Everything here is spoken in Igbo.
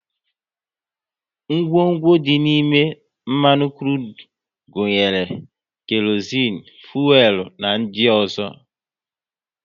Ngwongwo dị n'ime mmanụ krudu gunyere; kerozinu, fuelu na ndị ọzọ